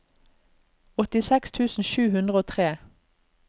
åttiseks tusen sju hundre og tre